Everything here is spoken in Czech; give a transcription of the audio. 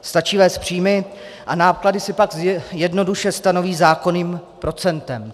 Stačí vést příjmy a náklady si pak jednoduše stanoví zákonným procentem.